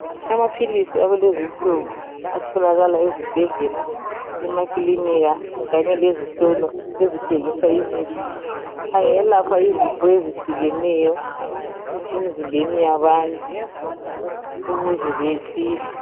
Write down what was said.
Amaphilisi akulezi insuku. Atholakala ezibhedlela, emakilinika, kanye lezitolo, ezithengisa imithi. Angelapha izifo ezehlukeneyo, emzimbeni yabantu ukuze besile.